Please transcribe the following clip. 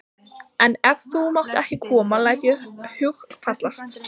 En ef þú mátt ekki koma læt ég ekki hugfallast.